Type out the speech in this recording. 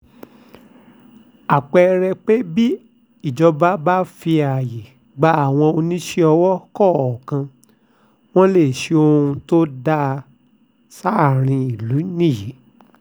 àpẹẹrẹ pé bí ìjọba bá fààyè gba àwọn oníṣòwò kọ̀ọ̀kan wọn lè ṣohun tó dáa sáàrin ìlú nìyí